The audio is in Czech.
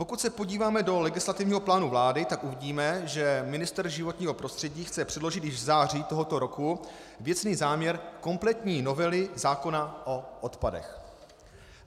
Pokud se podíváme do legislativního plánu vlády, tak uvidíme, že ministr životního prostředí chce předložit již v září tohoto roku věcný záměr kompletní novely zákona o odpadech.